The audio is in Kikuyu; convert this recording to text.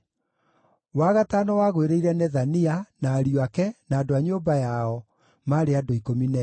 wa gatano wagũĩrĩire Nethania, na ariũ ake, na andũ a nyũmba yao, maarĩ andũ 12;